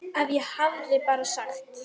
Ef ég bara hefði sagt.